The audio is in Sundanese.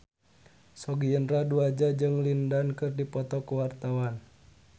Sogi Indra Duaja jeung Lin Dan keur dipoto ku wartawan